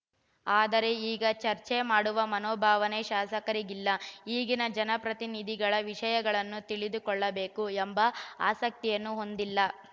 ಆದರೆ ಈಗ ಚರ್ಚೆ ಮಾಡುವ ಮನೋಭಾವನೆ ಶಾಸಕರಿಗಿಲ್ಲ ಈಗಿನ ಜನಪ್ರತಿನಿಧಿಗಳು ವಿಷಯಗಳನ್ನು ತಿಳಿದುಕೊಳ್ಳಬೇಕು ಎಂಬ ಆಸಕ್ತಿಯನ್ನು ಹೊಂದಿಲ್ಲ